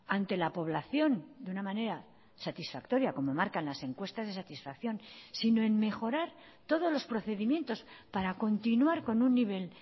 ante la población de una manera satisfactoria como marcan las encuestas de satisfacción sino en mejorar todos los procedimientos para continuar con un nivel